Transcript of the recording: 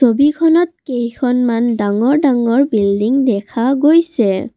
ছবিখনত কেইখনমান ডাঙৰ ডাঙৰ বিল্ডিং দেখা গৈছে।